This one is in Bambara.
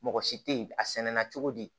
Mɔgɔ si tɛ ye a sɛnɛna cogo di